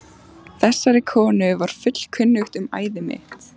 Þessari konu var fullkunnugt um æði mitt.